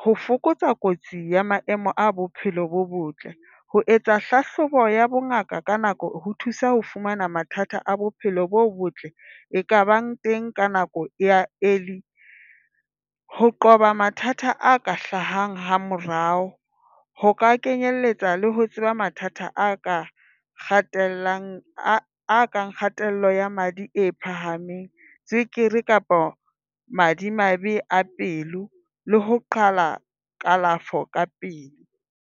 ho fokotsa kotsi ya maemo a bophelo bo botle. Ho etsa hlahlobo ya bongaka ka nako ho thusa ho fumana mathata a bophelo bo botle e kabang teng ka nako ya early. Ho qoba mathata a ka hlahang ha morao. Ho ka kenyelletsa le ho tseba mathata a ka kgathallang kgatello ya madi e phahameng, tswekere kapa madimabe a pelo le ho qala kalafo ka pele.